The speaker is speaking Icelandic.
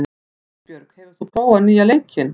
Hugbjörg, hefur þú prófað nýja leikinn?